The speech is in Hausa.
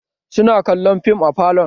Su na kallon fim a falon